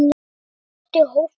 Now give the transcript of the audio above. Allt er gott í hófi.